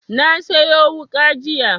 Na siyo wuƙa jiya